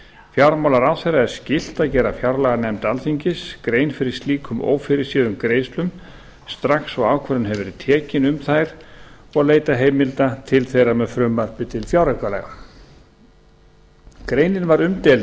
fjármálaráðherra er skylt að gera fjárlaganefnd alþingis grein fyrir slíkum ófyrirséðum greiðslum strax og ákvörðun hefur verið tekin um þær og leita heimilda til þeirra með frumvarpi til fjáraukalaga greinin var umdeild